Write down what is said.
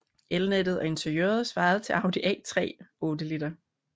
Elnettet og interiøret svarede til Audi A3 8L